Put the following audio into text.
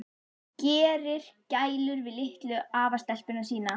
Gerir gælur við litlu afastelpuna sína.